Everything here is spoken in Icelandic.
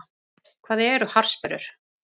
Hvað eru harðsperrur?